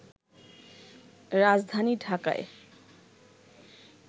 রাজধানী ঢাকায়